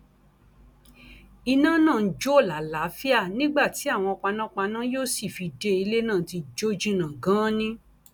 iná náà ń jó làlàáfíà nígbà tí àwọn panápaná yóò sì fi dé ilé náà ti jó jìnnà ganan ni